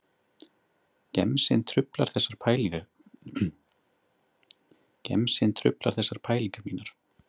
Gemsinn truflar þessar pælingar mínar